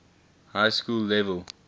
high school level